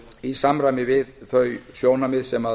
í samræmi við þau sjónarmið sem